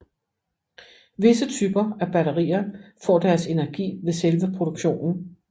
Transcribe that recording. Visse typer af batterier får deres energi ved selve produktionen